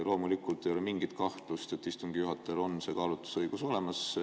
Loomulikult ei ole mingit kahtlust, et istungi juhatajal on see kaalutlusõigus olemas.